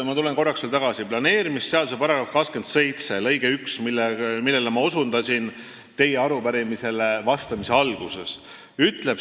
Ma tulen korraks veel tagasi planeerimisseaduse § 27 lõike 1 juurde, millele ma osutasin teie arupärimisele vastamise alguses.